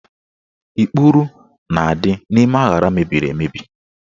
Ikpuru na-adị n'ime aṅara mebiri emebi